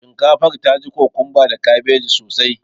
Shinkafar ta ji kokumba da kabeji sosai